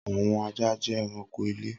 Awọn aja jẹ ẹranko ile.